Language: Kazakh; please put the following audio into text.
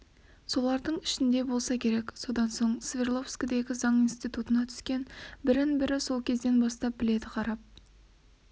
солардың ішінде болса керек содан соң свердловскідегі заң институтына түскен бірін-бірі сол кезден бастап біледі қарап